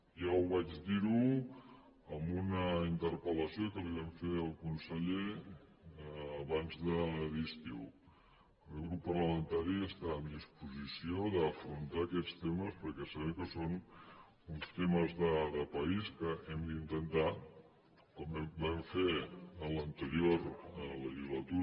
ja ho vaig dir en una interpel·lació que li vam fer al conseller abans de l’estiu el meu grup parlamentari està en disposició d’afrontar aquests temes perquè sabem que són uns temes de país que hem d’intentar com vam fer en l’anterior legislatura